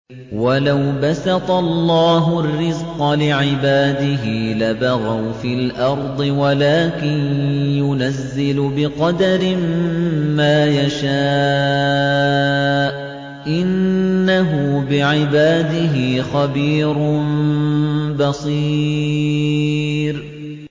۞ وَلَوْ بَسَطَ اللَّهُ الرِّزْقَ لِعِبَادِهِ لَبَغَوْا فِي الْأَرْضِ وَلَٰكِن يُنَزِّلُ بِقَدَرٍ مَّا يَشَاءُ ۚ إِنَّهُ بِعِبَادِهِ خَبِيرٌ بَصِيرٌ